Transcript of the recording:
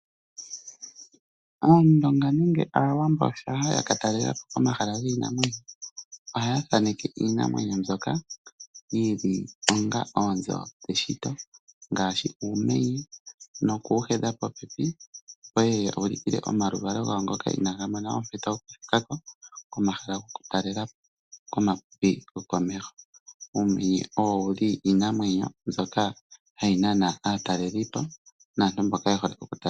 Aandonga nenge Aawambo shampa ya ka talela po komahala giinamwenyo ohaya thaneke iinamwenyo mbyoka yi li onga oonzo dheshito ngaashi uumenye noku wu hedha popepi, opo ye ye ya ulukile omaluvalo gawo ngoka inaaga mona ompito yokuthika ko komahala gokutalela po komapipi gokomeho. Uumenye owo wu li iinamwenyo mbyoka hayi nana aatalelipo naantu mboka ye hole okutalela po.